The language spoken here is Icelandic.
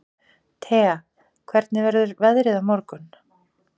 Thea, hvernig verður veðrið á morgun?